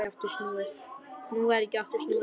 Nú varð ekki aftur snúið.